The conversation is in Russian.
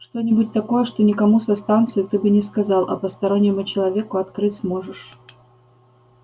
что-нибудь такое что никому со станции ты бы не сказал а постороннему человеку открыть сможешь